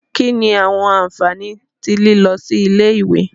Kini awọn anfani ti lilọ si ile-iwe?